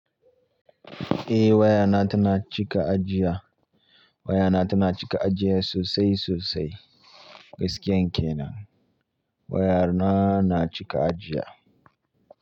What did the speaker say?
Eh wayana tana cika ajiya, waya na tana cika ajiya sosai sosai gaskiyan kenan wayana cika ajiya.